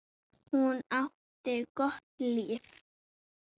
Hún átti gott líf.